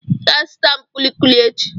Ị ga-azụta m kulikuli echi.